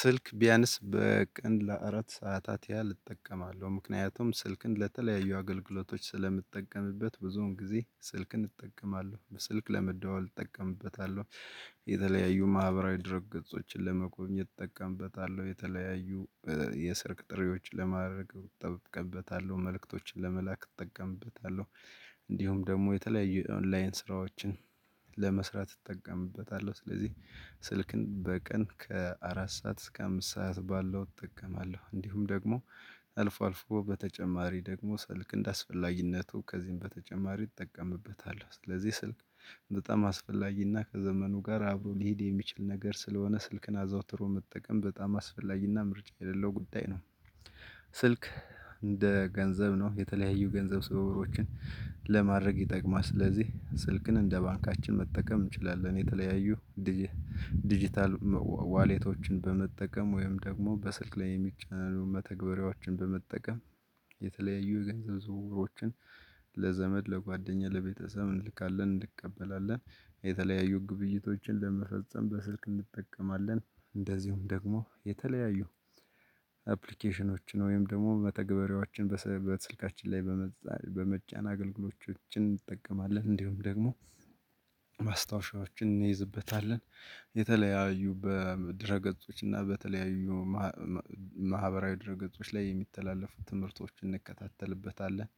ስልክ ቢያንስ በቀን ለአራት ሰዓታት ያህል እጠቀማለሁ ምክንያቱም ስልክን ለተለያዩ አገልግሎቶች ስለምጠቀምበት ብዙውን ጊዜ ስልክን እጠቀማለሁ በስልክ ለመደዋወል እጠቀምበታለሁ። የተለያዩ ማህበራዊ ድረ ገጾችን ለመጠቀም እጠቀምበታል የተለያዩ የሰርግ ጥሬዎችን ለማድረግ እጠቀምበታለሁ መልእክቶችን ለመላክ እጠቀምበታለሁ። እንዲሁም ደግሞ የተለያዩ ኦንላይን ስራዎችን ለመስራት እጠቀምበታለሁ። ስለዚህ ስልክን በቀን ከአራት ሰዓት እስከ አምስት ሰዓት ባለው እጠቀማለሁ። እንዲሁም ደግሞ አልፎ አልፎ በተጨማሪ ደግሞ ስልክ እንደአስፈላጊነቱ ከዚህም በተጨማሪ እጠቀምበታለሁ። ስለዚህ ስልክ በጣም አስፈላጊና ከዘመኑ ጋር አብሮ ሊሄድ የሚችል ነገር ስለሆነ ስልክን አዘውትሮ መጠቀም በጣም አስፈላጊና ምርጫ የሌለው ጉዳይ ነው። ስልክ እንደ ገንዘብ ነው የተለያዩ ገንዘብ ሰበባዎችን ለማድረግ ይጠቅማል ስለዚህ ስልክን እንደ ባንካችን መጠቀም እንችላለን። የተለያዩ ዲጂታል ዋሌቶችን በመጠቀም ወይም ደግሞ በስልክ ላይ የሚቻለንን መተግበሪያዎችን በመጠቀም የተለያዩ የገንዘብ ዝውውሮችን ለዘመድ ለጓደኛ ለቤተሰብ እንልካለን እንቀበላለን። የተለያዩ ግብይቶችን ለመፈጸም በስልክ እንጠቀማለን። እንደዚሁም ደግሞ የተለያዩ አፕሊኬሽኖችን ወይም ደግሞ መተግበሪያዎችን በስልካችን ላይ በመጫን አገልግሎቶችን እንጠቀማለን። እንዲሁም ደግሞ ማስታወሻዎችን እንይዝበታለን። የተለያዩ በድረ ገጾች እና በተለያዩ ማህበራዊ ድር ገጾች ላይ የሚተላለፉ ትምህርቶችን እንከታተልበታለን።